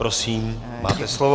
Prosím, máte slovo.